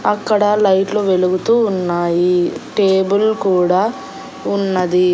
అక్కడ లైట్లు వెలుగుతూ ఉన్నాయి టేబుల్ కూడా ఉన్నది.